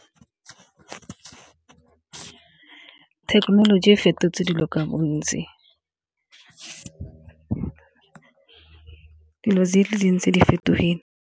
Thekenoloji e fetotse dilo ka bontsi, dilo di le dintsi di fetogile.